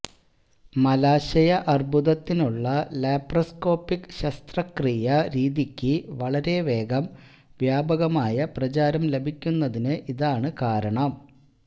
മലാശയ അര്ബുദത്തിനുള്ള ലാപ്പറോസ്കോപിക് ശസ്ത്രക്രിയാ രീതിക്ക് വളരെ വേഗം വ്യാപകമായ പ്രചാര ലഭിക്കുന്നതിന് ഇതാണ് കാരണം